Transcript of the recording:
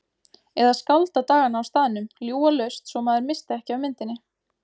Eða skálda dagana á staðnum, ljúga laust svo maður missti ekki af myndinni.